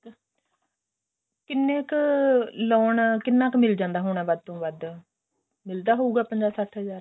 ਕਿੰਨੇ ਕ loan ਕਿੰਨਾ ਕ ਮਿਲ ਜਾਂਦਾ ਹੁਣ ਵੱਧ ਤੋਂ ਵੱਧ ਮਿਲਦਾ ਹੋਊਗਾ ਪੰਜਾ ਸੱਠ ਹਜ਼ਾਰ